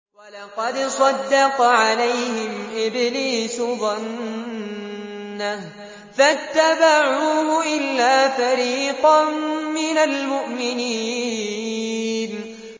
وَلَقَدْ صَدَّقَ عَلَيْهِمْ إِبْلِيسُ ظَنَّهُ فَاتَّبَعُوهُ إِلَّا فَرِيقًا مِّنَ الْمُؤْمِنِينَ